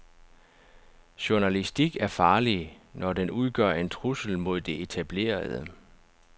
Journalistik er farlig, når den udgør en trussel mod det etablerede.